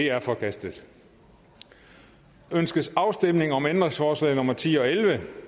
er forkastet ønskes afstemning om ændringsforslag nummer ti og elleve